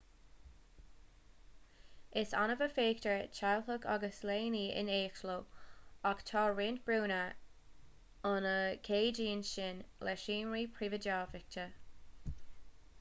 is annamh a fheictear teaghlaigh agus leanaí in éineacht leo ach tá roinnt brúnna ann a cheadaíonn sin le seomraí príobháideacha